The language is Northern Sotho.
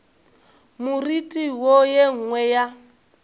moriti wo ye nngwe ya